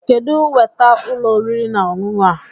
Kedụ weta ụlọ oriri na ọṅụṅụ a?